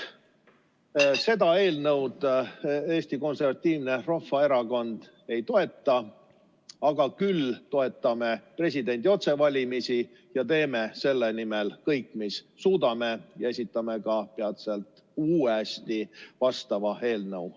Seda eelnõu Eesti Konservatiivne Rahvaerakond ei toeta, küll aga toetame presidendi otsevalimisi ja teeme selle nimel kõik, mis suudame, ja esitame peatselt vastava eelnõu uuesti.